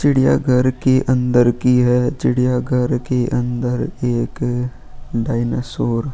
चिड़ियाघर की अंदर की है चिड़ियाघर के अंदर एक डायनासोर --